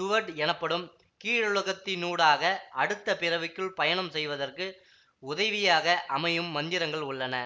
Duat எனப்படும் கீழுலகத்தினூடாக அடுத்த பிறவிக்குள் பயணம் செய்வதற்கு உதவியாக அமையும் மந்திரங்கள் உள்ளன